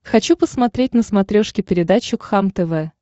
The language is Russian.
хочу посмотреть на смотрешке передачу кхлм тв